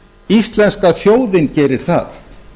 íslenska þjóðin gerir það